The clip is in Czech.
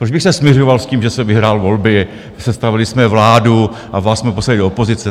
Proč bych se smiřoval s tím, že jsem vyhrál volby, sestavili jsme vládu a vás jsme poslali do opozice?